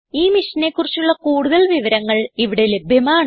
ഈ മിഷനെ കുറിച്ചുള്ള കുടുതൽ വിവരങ്ങൾ ഇവിടെ ലഭ്യമാണ്